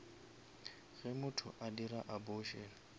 ge motho a dira abortion